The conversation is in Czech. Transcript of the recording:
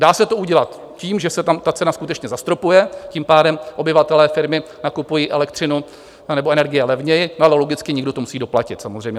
Dá se to udělat tím, že se tam ta cena skutečně zastropuje, tím pádem obyvatelé, firmy nakupují elektřinu anebo energie levněji, ale logicky někdo to musí doplatit samozřejmě.